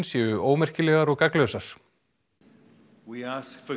séu ómerkilegar og og